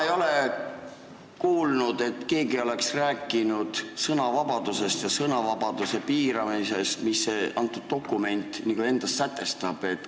Ei ole kuulnud, et keegi oleks täna rääkinud sõnavabadusest ja sõnavabaduse piiramisest, mida see dokument endas sätestab.